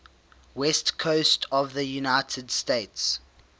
west coast of the united states